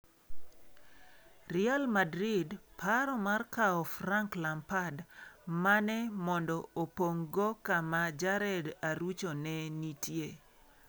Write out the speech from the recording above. Real Madrid paro mar kawo Frank lampad, mane mondo opong'go kama jared Arucho ne nitie.